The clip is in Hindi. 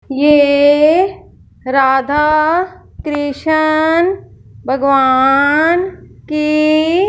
ये राधा कृष्ण भगवान की--